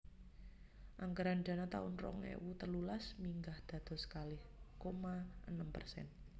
Anggaran dana taun rong ewu telulas minggah dados kalih koma enem persen